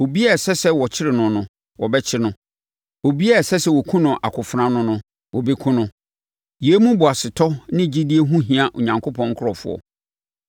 “Obiara a ɛsɛ sɛ wɔkyere no no, wɔbɛkyere no. Obiara a ɛsɛ sɛ wɔkum no akofena ano no, wɔbɛkum no.” Yei mu boasetɔ ne gyidie ho hia Onyankopɔn nkurɔfoɔ.